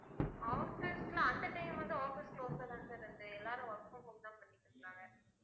office ல அந்த time வந்து, office close ஆதான் sir இருந்தது எல்லாரும் work க்கும் home தான் பண்ணிட்டு இருக்காங்க